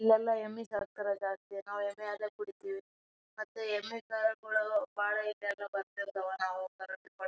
ಇಲ್ ಎಲ್ಲ ಎಮ್ಮಿ ಸಕ್ತರ ಜಾಸ್ತಿ ನಾವ್ ಎಮ್ಮಿ ಹಾಲೆ ಕುಡಿತೀವಿ ಮತ್ ಬಹಳ ಇದಾವ ಬತ್ತೆ ಇರ್ತ್ವ--